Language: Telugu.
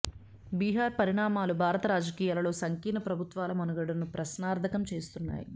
బీహార్ పరిణామాలు భారత రాజకీయాలలో సంకీర్ణ ప్రభుత్వాల మనుగడను ప్రశ్నార్థకం చేస్తున్నాయి